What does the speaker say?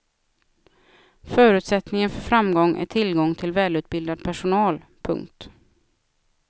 Förutsättningen för framgång är tillgång till välutbildad personal. punkt